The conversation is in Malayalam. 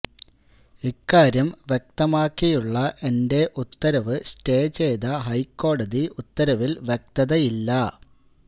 ഇക്കാര്യം വ്യക്തമാക്കിയുള്ള എന്റെ ഉത്തരവ് സ്റ്റേ ചെയ്ത ഹൈക്കോടതി ഉത്തരവിൽ വ്യക്തതയില്ല